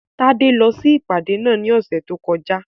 Tádé lọ sí ìpàdé náà ní ọ̀sẹ̀ tó kọjá